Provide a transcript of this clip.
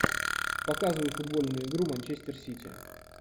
показывай футбольную игру манчестер сити